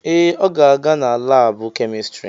Ee, ọ ga-aga na laabụ kemịstrị.